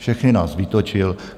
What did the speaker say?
Všechny nás vytočil.